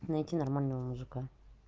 найти нормального мужика